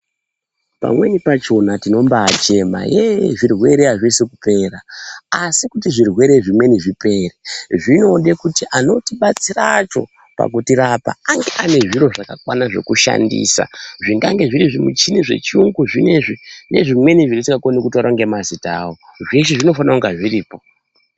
Pamweni pachona tinombayi chema yee zvirwere azvisi kupera asi kuti zvirwere zvimweni zvipere zvinode kuti anotibatsira acho pakutirapa ange ane zviro zvakakwana zvekushandisa zvingange zviri zvimuchini zvechirungu zvinezvi nezvimweni zvandisingakwanisi kutaura nemazita awo zveshe zvinofanirwa kunge zviripo